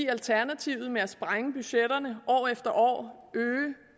alternativet med at sprænge budgetterne år efter år øge